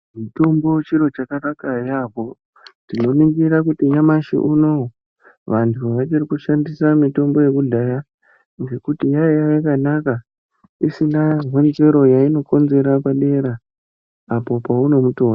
Mitombo chiro chakanaka yaamho. Tinoringira kuti nyamashi unowu vantu vachiri kushandisa mitombo yekudhaya ngekuti yaiya yakanaka isina honzero yainokonzera padera, apo pounoutora.